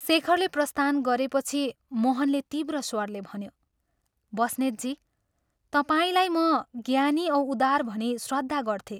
शेखरले प्रस्थान गरेपछि मोहनले तीव्र स्वरले भन्यो " बस्नेतजी, तपाईंलाई म ज्ञानी औ उदार भनी श्रद्धा गर्थे।